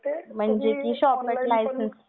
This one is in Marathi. म्हणजे शॉप ऍक्ट लायसन्स वैगेरे